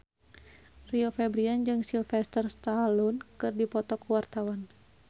Rio Febrian jeung Sylvester Stallone keur dipoto ku wartawan